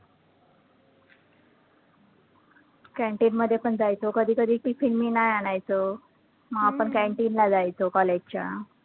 canteen मध्ये पण जायचो, कधी कधी tiffin मी नाही आणायचो, मग आपण canteen ला जायचो college च्या